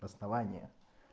основание